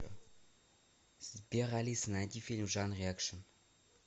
сбер алиса найди фильм в жанре экшен